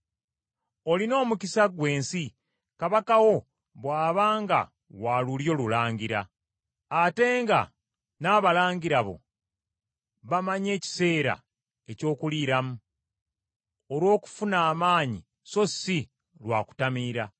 Olina omukisa gw’ensi kabaka wo bw’aba nga wa lulyo lulangira, ate nga n’abalangira bo bamanyi ekiseera eky’okuliiramu, olw’okufuna amaanyi so si lwa kutamiira.